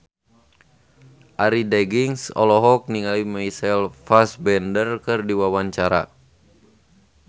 Arie Daginks olohok ningali Michael Fassbender keur diwawancara